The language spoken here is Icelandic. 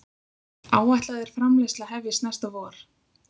Áætlað er framleiðsla hefjist næsta vor